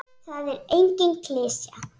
Það er engin klisja.